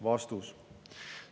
" Vastus.